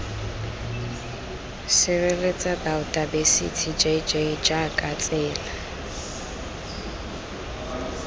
sireletsa baotaebesithi jj jaaka tsela